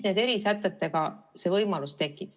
Nende erisätetega see võimalus tekib.